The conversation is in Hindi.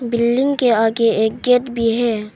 बिल्डिंग के आगे एक गेट भी है।